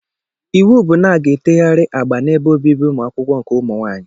Iwu bụ na-aga etegharị agba n'ebe obibi ụmụ akwụkwọ nke ụmụ nwaanyị!